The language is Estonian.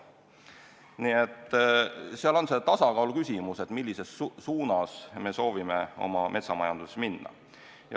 Nii et see on tasakaaluküsimus, millises suunas me soovime oma metsamajanduses minna.